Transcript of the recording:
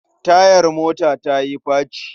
Tayar mota ta yi faci.